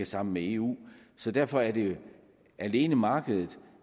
sammen med eu så derfor er det alene markedet